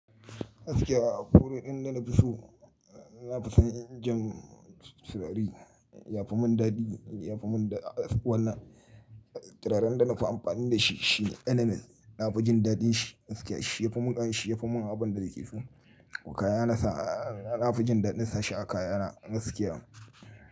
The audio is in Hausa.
Gaskiya akwai waɗanda na fi so, na fi son injin surari, ya fi mun dadi, ya fi mun wanna turaren da na fi amfani da shi shine NNS, na fi jin daɗin shi gaskiya, shi ya fi mun, shi ya fi mun abin da yake so. Kaya na sa, na fi jin daɗin sa shi a kaya na gaskiya.